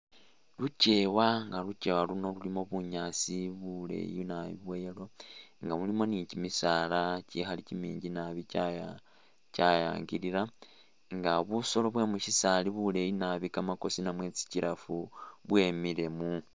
Lukyewa nga lukyewa luno lulimo bunyaasi buleyi nabbi bwa yellow nga mulimo ni kimisaala kikhaali kyiminji nabbi kyaya kyayangilira nga busoolo bwe mushisaali buleyi nabbi kamakosi namwe tsi giraffe bwemile mu